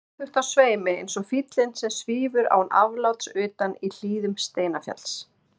Stöðugt á sveimi eins og fýllinn sem svífur án afláts utan í hlíðum Steinafjalls.